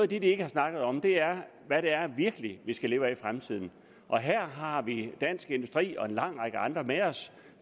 de ikke har snakket om er hvad det virkelig vi skal leve af i fremtiden og her har vi dansk industri og en lang række andre med os